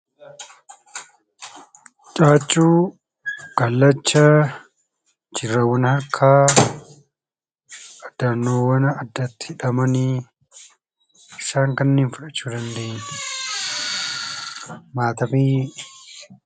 Caaccuu, kallacha hidhannoowwan akka hidhannoowwan addaatti hidhaman isaan kana fudhachuu dandeenya matabii